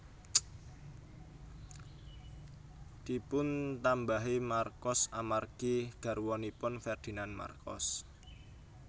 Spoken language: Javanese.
Dipuntambahi Marcos amargi garwanipun Ferdinand Marcos